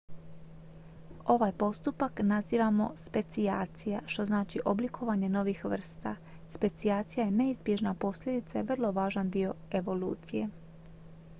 ovaj postupak nazivamo specijacija što znači oblikovanje novih vrsta specijacija je neizbježna posljedica i vrlo važan dio evolucije